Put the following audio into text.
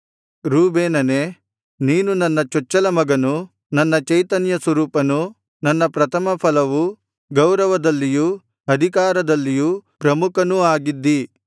ರೂಬೇನನೇ ನೀನು ನನ್ನ ಚೊಚ್ಚಲಮಗನೂ ನನ್ನ ಚೈತನ್ಯಸ್ವರೂಪನೂ ನನ್ನ ಪ್ರಥಮಫಲವೂ ಗೌರವದಲ್ಲಿಯೂ ಅಧಿಕಾರದಲ್ಲಿಯೂ ಪ್ರಮುಖನೂ ಆಗಿದ್ದೀ